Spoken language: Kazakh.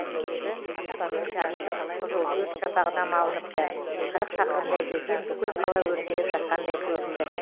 аспанның жартысы қып қызыл өрт шапағына малыныпты қырық шақырымдай жерден бүкіл қала өртеніп жатқандай көрінді